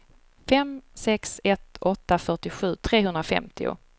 fem sex ett åtta fyrtiosju trehundrafemtio